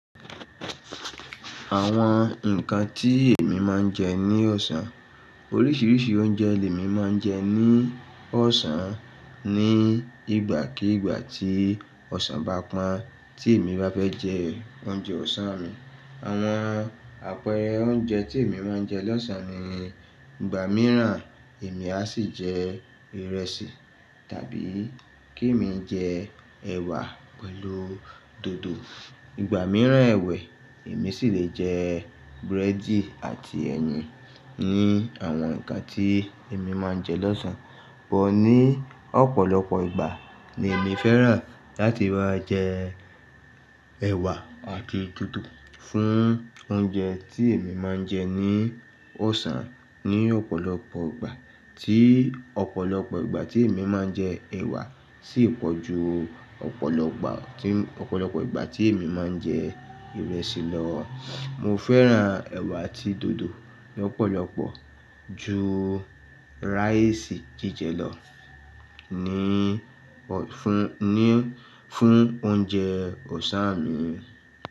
Àwọn ǹkan tí èmi máa ń jẹ ní ọ̀sán. Oríṣiríṣi oúnjẹ lè mi máa ń jẹ ní ọ̀sán ní ìgbàkígbà tí ọ̀sán bá pọ́n tí èmi bá fẹ́ jẹ oúnjẹ ọ̀sán mi. Àwọn àpẹẹrẹ oúnjẹ tí èmi máa ń jẹ lọ́sàn-án ni, ìgbà mìíràn èmi a sì jẹ ìrẹsì tàbí kí èmi jẹ ẹ̀wà pẹ̀lú dòdò. Ìgbà mìíràn ẹ̀wẹ̀ èmi sì le jẹ búrẹ́dì àti ẹyin ni àwọn ǹkan tí èmi máa ń jẹ lọ́sàn-án. Bọ̀ ní ọ̀pọ̀lọpọ̀ ìgbà ni èmi fẹ́ràn láti máa jẹ ẹ̀wà àti dòdò fún oúnjẹ tí èmi máa ń jẹ ní ọ̀sán. Ni ọ̀pọ̀lọpọ̀ ìgbà tí ọ̀pọ̀lọpọ̀ ìgbà tí èmi máa ń jẹ ẹ̀wà sì pọ̀ ju ọ̀pọ̀lọpọ̀, ọ̀pọ̀lọpọ̀ ìgbà tí èmi máa ń jẹ ìrẹsì lọ. Mo fẹ́ràn ẹ̀wà àti dòdò lọ́pọ̀lọpọ̀ ju rice jijẹ lọ ní ọ̀ fún ní fún oúnjẹ ọ̀sán mi.